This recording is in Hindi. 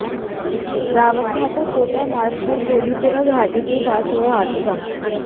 रावतभाटा कोटा मार्ग पर कोलीपुरा घाटे के पास हुआ हादसा